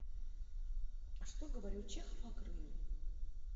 что говорил чехов о крыме